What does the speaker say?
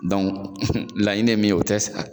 Dɔnku laɲini ye o tɛ sɛ ka